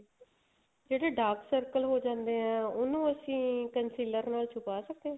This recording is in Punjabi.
ਜਿਹੜੇ dark circle ਹੋ ਜਾਂਦੇ ਏ ਉਹਨੂੰ ਅਸੀਂ conciliar ਨਾਲ ਛੁਪਾ ਸਕਦੇ ਆ